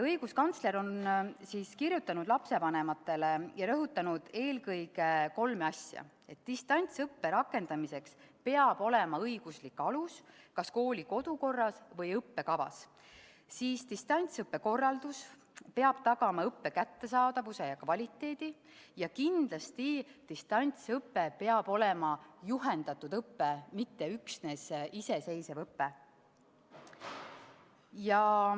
Õiguskantsler on kirjutanud lapsevanematele ja rõhutanud eelkõige kolme asja: distantsõppe rakendamiseks peab olema õiguslik alus kas kooli kodukorras või õppekavas; distantsõppe korraldus peab tagama õppe kättesaadavuse ja kvaliteedi, ja kindlasti peab distantsõpe olema juhendatud õpe, mitte üksnes iseseisev õpe.